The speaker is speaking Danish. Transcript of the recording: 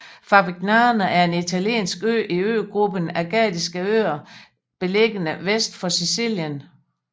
Favignana er en italiensk ø i øgruppen Ægadiske Øer beliggende vest for Sicilien